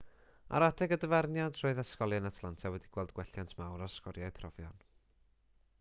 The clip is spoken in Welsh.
ar adeg y dyfarniad roedd ysgolion atlanta wedi gweld gwelliant mawr ar sgoriau profion